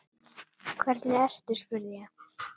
Hvernig ertu spurði ég.